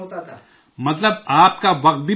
مطلب، آپ کا وقت بھی بچ جاتا ہے